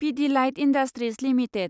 Pidilite industries limited